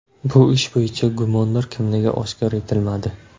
Bu ish bo‘yicha gumondor kimligi oshkor etilmadi.